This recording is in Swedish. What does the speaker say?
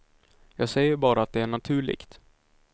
Jag säger bara att det är naturligt.